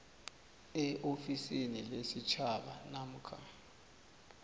eofisini lesitjhaba namkha